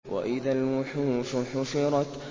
وَإِذَا الْوُحُوشُ حُشِرَتْ